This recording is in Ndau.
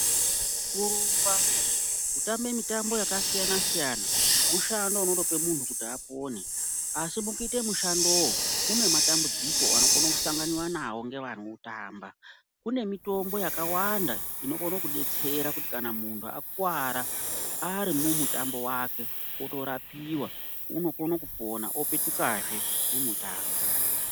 Kurumba kutambe mitambo yakasiyanasiyana mushando unotope munhu kuti apone asi mukuite mushando munematambudziko anokona kusanganiwa anwo ngevanoutamba, kune mitombo yakawanda inokone kudetserakuti kana munhu akuwara arimumutambo wake otorapiwa otopetukahe mumutambo.